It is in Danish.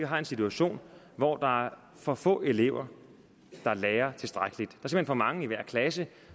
har en situation hvor der er for få elever der lærer tilstrækkeligt der er for mange i hver klasse